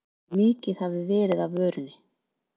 Hve mikið hafi verið af vörunni?